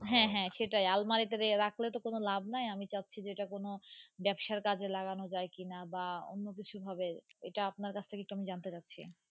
হ্যাঁ হ্যাঁ স্টেই আলমারি তে রাখলে তো কোনো লাভ নাই আমি চাচ্ছি যে তা কোনো ব্যবসার কাজে লাগানো যাই কি না বা অন্য কিছু ভাবে বা এটা অপনার কাছথেকে কি জানতে পড়ছি।